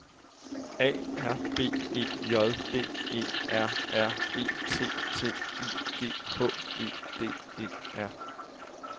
A R B E J D E R R E T T I G H E D E R